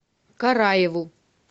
караеву